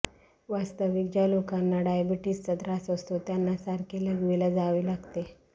वास्तविक ज्या लोकांना डायबिटीसचा त्रास असतो त्यांना सारखे लघवीला जावे लागते